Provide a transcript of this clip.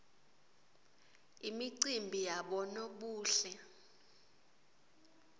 imicimbi yabonobuhle